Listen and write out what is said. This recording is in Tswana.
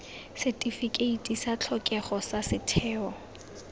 setifikeiti sa tlhokego sa setheo